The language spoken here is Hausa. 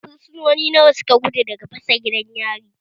Fursunoni nawa suka gudu daga fasa gidan yari?